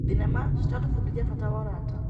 Thenema ciratũbundithia bata wa ũrata.